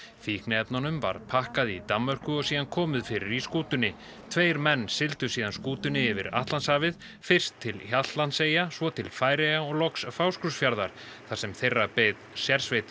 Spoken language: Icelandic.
fíkniefnunum var pakkað í Danmörku og síðan komið fyrir í skútunni tveir menn sigldu síðan skútunni yfir Atlantshafið fyrst til Hjaltlandseyja svo til Færeyja og loks Fáskrúðsfjarðar þar sem þeirra beið sérsveit